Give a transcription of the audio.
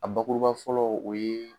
A bakuruba fɔlɔ o ye